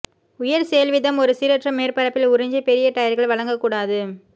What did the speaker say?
உயர் செயல்வீதம் ஒரு சீரற்ற மேற்பரப்பில் உறிஞ்சி பெரிய டயர்கள் வழங்கக் கூடாது